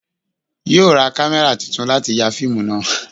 Yóò ra kámẹ́rà titun láti ya fíìmù náà